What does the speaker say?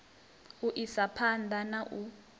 u isa phanḓa na u